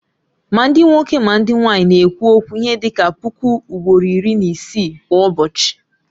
Ma ndị nwoke ma ndị nwanyị na-ekwu okwu ihe dị ka puku ugboro iri na isii kwa ụbọchị